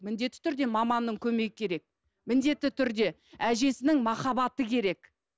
міндетті түрде маманның көмегі керек міндетті түрде әжесінің махаббаты керек